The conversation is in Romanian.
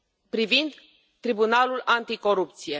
privind tribunalul anticorupție.